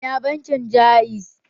Ina bankin Ja'iz